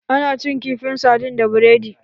Ana cin kifin sardin da biredi